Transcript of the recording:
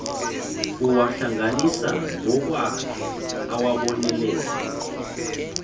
uwahlanganisa ngokwakhe awabonelele